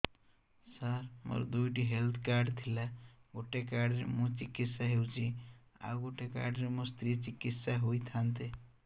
ସାର ମୋର ଦୁଇଟି health card ଥିଲା ଗୋଟେ କାର୍ଡ ରେ ମୁଁ ଚିକିତ୍ସା ହେଉଛି ଆଉ ଗୋଟେ କାର୍ଡ ରେ ମୋ ସ୍ତ୍ରୀ ଚିକିତ୍ସା ହୋଇଥାନ୍ତେ